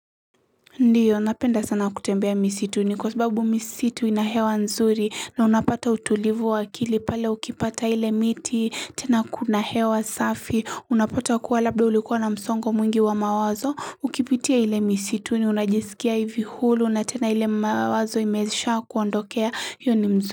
Ndio napenda sana kutembea misitu ni kwa sababu misitu inahewa nzuri na unapata utulivu wakili pale ukipata ile miti tena kunahewa safi unapata kuwa labda ulikuwa na msongo mwingi wa mawazo ukipitia ile misitu ni unajisikia hivi hulu na tena ile mawazo imezisha kuondokea hio ni mzuri.